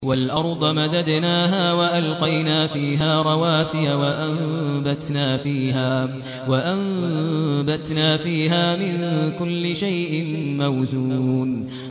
وَالْأَرْضَ مَدَدْنَاهَا وَأَلْقَيْنَا فِيهَا رَوَاسِيَ وَأَنبَتْنَا فِيهَا مِن كُلِّ شَيْءٍ مَّوْزُونٍ